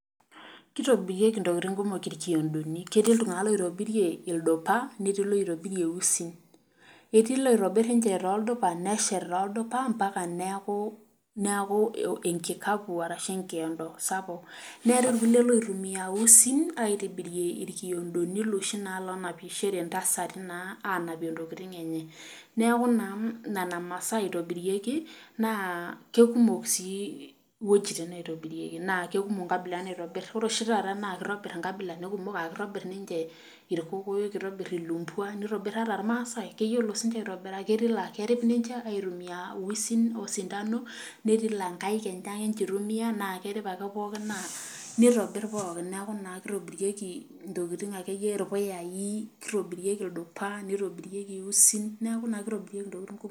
Kitobirieki ntokiting kumok irkiondoni, ketii iltunganak oitobirie ildupa netii loitobirie iusin, etii loitobiri ninche toldupa neshet toldupa mpaka neeku enkikapu orashu enkiodo sapuk .neetae irkulie loitumia usin aitobirie irkiondoni loshii naa loonapishore ntasati naa anapie ntokiting enye .neeku naa nena masaa eitobirieki neeku keikumok sii iwejitin naitobirieki naa keikumok nkabilaritin naitobir ore oshiake taata naa keitobir nkabilaritin kumok aa keitobir ninche orkokoyok nitobir ilumbwa neitobir siininche ata irmasai, ketii laa kerio ninche aitumiyia usin osintano netii laa nkaek enye ake ninche eitumiyia naa keripa ake ake pookin neitobir pookin neeku naa keitobirieki naa irpuyai ,naeitobirieki ildupa neitobirieki usin neeku naa keitobiriekei ntokiting kumok.